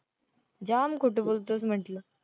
जाम खोटं बोलतोस म्हंटलं.